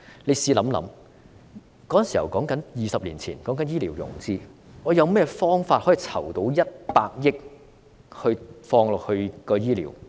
你試想一想 ，20 年前說醫療融資，我們有甚麼方法可以籌到億元放入醫療？